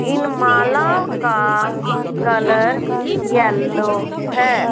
इन मालाओं का colour yellow है।